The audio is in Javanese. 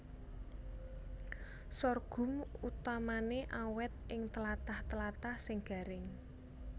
Sorghum utamané awèt ing tlatah tlatah sing garing